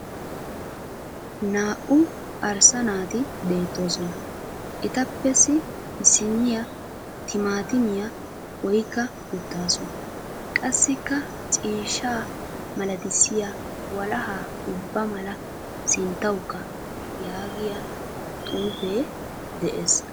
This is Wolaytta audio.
Naa"u arssa naati beettoosona. Etapps issinniya timaatimiya oyikka uttaasu. Qassikka " ciishshaa malatissiya walahaa ubba mala sinttawukka" yaagiya xuufee des.